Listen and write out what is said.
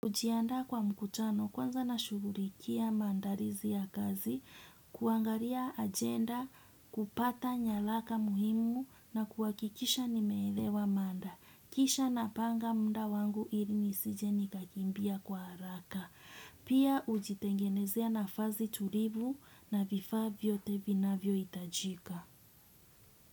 Najiandaa kwa mkutano kwanza nashugulikia maandalizi ya kazi, kuangalia ajenda, kupata nyaraka muhimu na kuhakikisha nimeelewa mada. Kisha napanga muda wangu ili nisije nikakimbia kwa haraka. Pia hujitengenezea nafasi tulivu na vifa vyote vinavyo hitajika.